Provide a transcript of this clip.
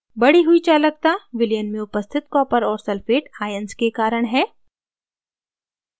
बड़ी हुई चालकता विलयन में उपस्थित copper और sulphate ions के कारण है